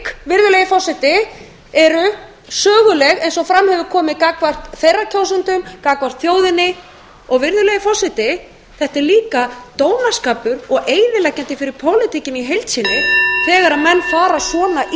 vegna þess að þeir eru í verulegum vanda meiri hluti þeirra kjósenda vilja sjá þjóðaratkvæðagreiðslu svona svik eru söguleg eins og fram hefur komið gagnvart þeirra kjósendum gagnvart þjóðinni og þetta er líka dónaskapur og eyðileggjandi fyrir pólitíkina í heild sinni þegar menn fara svona illa með